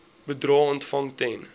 bedrae ontvang ten